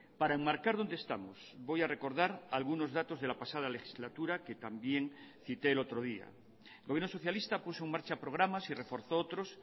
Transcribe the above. para enmarcar dónde estamos voy a recordar algunos datos de la pasada legislatura que también cité el otro día el gobierno socialista puso en marcha programas y reforzó otros